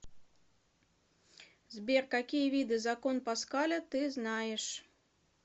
сбер какие виды закон паскаля ты знаешь